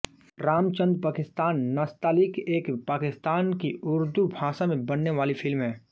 रामचन्द पाकिस्तान नस्तालीक़ एक पाकिस्तान की उर्दू भाषा में बनने वाली फ़िल्म है